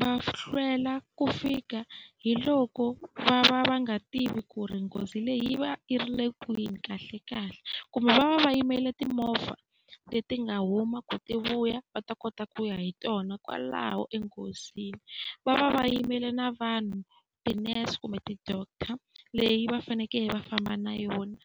va hlwela ku fika hi loko va va va nga tivi ku ri nghozi leyi va i ri le kwini kahlekahle, kumbe va va va yimele timovha leti nga huma ku ti vuya va ta kota ku ya hi tona kwalaho enghozini. Va va va yimele na vanhu tinese kumbe ti-doctor, leyi va fanekele va famba na yona.